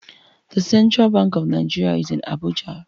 The Central Bank of Nigeria is in Abuja